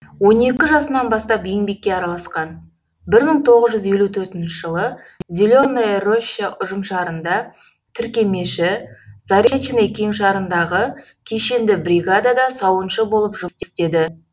он екі жасынан бастап еңбекке араласқан бір мың тоғыз жүз елу төртінші жылы зеленая роща ұжымшарында тіркемеші заречный кеңшарындағы кешенді бригадада сауыншы болып жұмыс істеді